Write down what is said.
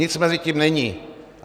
Nic mezi tím není.